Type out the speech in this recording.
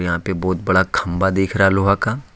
यहां पे बहुत बड़ा खंभा दिख रहा लोहा का।